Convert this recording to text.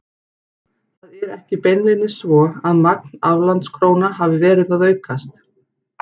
Það er ekki beinlínis svo að magn aflandskróna hafi verið að aukast.